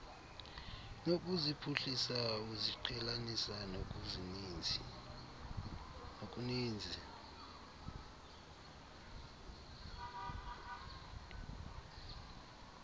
nokuziphuhlisa uziqhelanisa nokuninzi